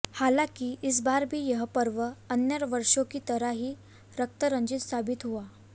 हालाकि इस बार भी यह पर्व अन्य वर्षों की तरह ही रक्त रंजित साबित हुआ